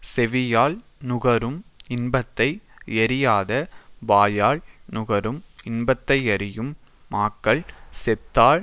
செவியால் நுகரும் இன்பத்தை யறியாத வாயால் நுகரும் இன்பத்தையறியும் மாக்கள் செத்தால்